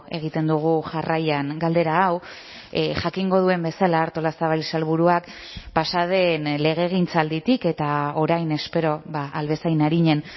egiten dugu jarraian galdera hau jakingo duen bezala artolazabal sailburuak pasa den legegintzalditik eta orain espero ahal bezain arinen